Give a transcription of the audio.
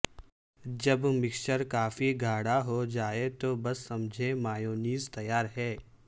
جب مکسچر کافی گاڑھا ہوجائے تو بس سمجھیں مایونیز تیار ہے